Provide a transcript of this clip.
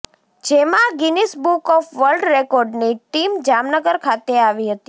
જેમાં Guinness book of world રેકોર્ડની team Jamnagar ખાતે આવી હતી